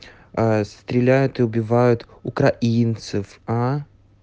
стреляют и убивают украинцев а